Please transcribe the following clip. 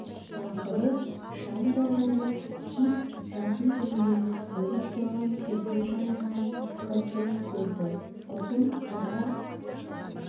ақыры шам да жанып кит жатын бөлмені бөліп тұрған перде жанынан қызды көрді ұзын қара